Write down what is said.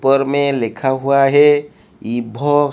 पर मैं लिखा हुआ है इ भो--